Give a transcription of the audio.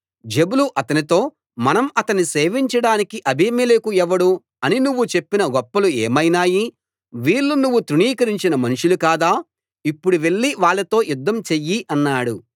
జెబులు అతనితో మనం అతన్ని సేవించడానికి అబీమెలెకు ఎవడు అని నువ్వు చెప్పిన గొప్పలు ఏమైనాయి వీళ్ళు నువ్వు తృణీకరించిన మనుషులు కాదా ఇప్పుడు వెళ్లి వాళ్ళతో యుద్ధం చెయ్యి అన్నాడు